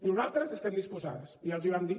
nosaltres estem disposades ja els hi vam dir